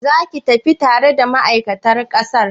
Zaki tafi tare dani ma'aikatar sakar?